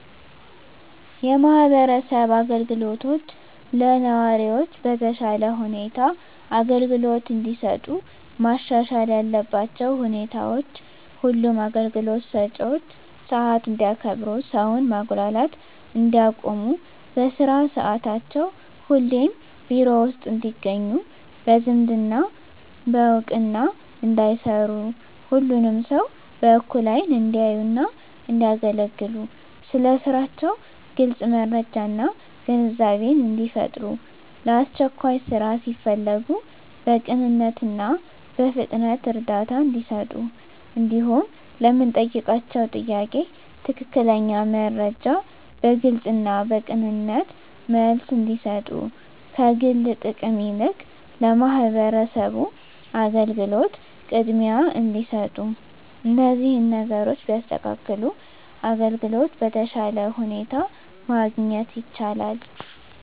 የማህበረሰብ አገልግሎቶች ለነዋሪዎች በተሻለ ሁኔታ አገልግሎት እንዲሰጡ መሻሻል ያለባቸው ሁኔታዎች ሁሉም አገልግሎት ሰጭዎች ሰዓት እንዲያከብሩ ሰውን ማጉላላት እንዲያቆሙ በስራ ሰዓታቸው ሁሌም ቢሮ ውስጥ እንዲገኙ በዝምድና በእውቅና እንዳይሰሩ ሁሉንም ሰው በእኩል አይን እንዲያዩና እንዲያገለግሉ ስለ ስራቸው ግልጽ መረጃና ግንዛቤን እንዲፈጥሩ ለአስቸኳይ ስራ ሲፈለጉ በቅንነትና በፍጥነት እርዳታ እንዲሰጡ እንዲሁም ለምንጠይቃቸው ጥያቄ ትክክለኛ መረጃ በግልጽና በቅንነት መልስ እንዲሰጡ ከግል ጥቅም ይልቅ ለማህበረሰቡ አገልግሎት ቅድሚያ እንዲሰጡ እነዚህን ነገሮች ቢያስተካክሉ አገልግሎት በተሻለ ሁኔታ ማግኘት ይቻላል።